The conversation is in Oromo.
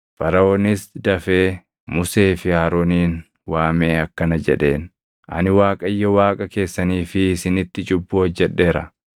Faraʼoonis dafee Musee fi Aroonin waamee akkana jedheen; “Ani Waaqayyo Waaqa keessanii fi isinitti cubbuu hojjedheera.